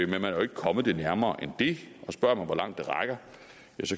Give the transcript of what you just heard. man er jo ikke kommet det nærmere end det og spørger man hvor langt det rækker